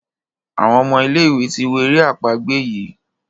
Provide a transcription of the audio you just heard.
Àwọn omo ilé ìwé tí wọ èrè àpagbè yi.